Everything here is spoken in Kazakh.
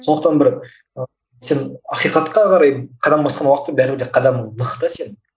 сондықтан бір ы сен ақиқатқа қарай қадам басқан уақытта бәрібір де қадамың нық та сенің